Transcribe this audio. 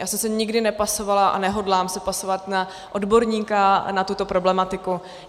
Já jsem se nikdy nepasovala a nehodlám se pasovat na odborníka na tuto problematiku.